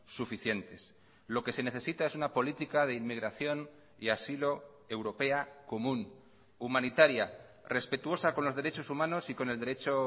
suficientes lo que se necesita es una política de inmigración y asilo europea común humanitaria respetuosa con los derechos humanos y con el derecho